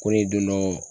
Ko ne donnɔ